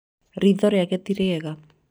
ritho rĩake tirĩega